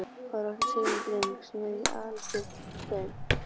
Áður átti Sigrún dreng sem hefur alist upp hjá þeim.